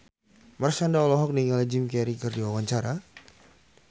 Marshanda olohok ningali Jim Carey keur diwawancara